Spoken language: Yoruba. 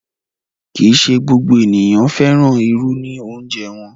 Kí í ṣé gbogbo ènìyàn fẹ́ràn irù ní òunjẹ̀ wọn.